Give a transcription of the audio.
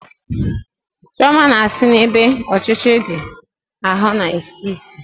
Chioma na-sị na ebe ochiche ndi ahụ na-esi isi